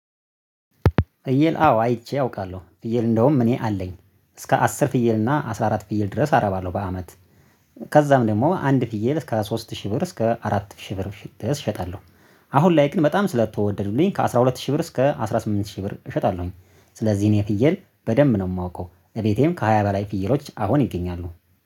ፍየል አዎ አይቼ አውቃለሁ ፍየል እንደውም እኔ አለኝ እስከ አስር ፍየል እና አስራ አራት ፍየል ድረስ አረብለው በአመት። ከዛም ደግሞ አንድ ፍየል እስከ ሶስት ሺህ ብር እስከ አራት ሺህ ብር ሺ እሸጣለሁ። አሁን ላይ ግን በጣም ስለተወደዱልኝ ከአሥራ ሁለት ሺህ ብር እስከ አስራ ስምንት ሺህ ብር እሸጣለሁኝ። ስለዚህ እኔ ፍየል በደንብ ነው የማውቀው እቤቴም ከሃያ በላይ ፍይሎች አሁን ይገኛሉ